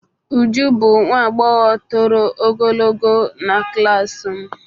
Uju bụ nwa agbọghọ toro ogologo na klas m.